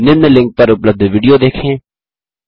निम्न लिंक पर उपलब्ध विडियो देखें